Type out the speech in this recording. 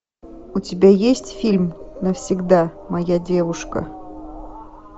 у тебя есть фильм навсегда моя девушка